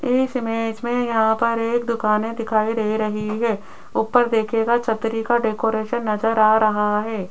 इस इमेज में यहां पर एक दुकानें दिखाई दे रही है ऊपर देखिएगा छतरी का डेकोरेशन नजर आ रहा है।